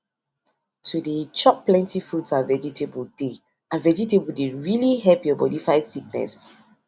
to dey chop plenty fruits and vegetable dey and vegetable dey really help your body fight sickness